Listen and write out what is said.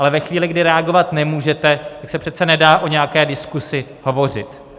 Ale ve chvíli, kdy reagovat nemůžete, tak se přece nedá o nějaké diskuzi hovořit.